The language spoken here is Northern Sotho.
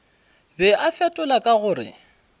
be a fetola ka gore